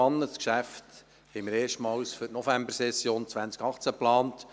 Dieses Geschäft hatten wir erstmals für die Novembersession 2018 geplant.